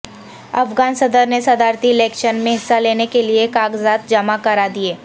افغان صدر نے صدارتی الیکشن میں حصہ لینے کے لیے کاغذات جمع کرا دیے